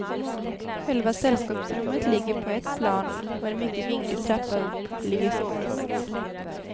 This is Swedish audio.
Själva sällskapsrummet ligger på ett plan och en mycket vinglig trappa upp ligger sovrummet.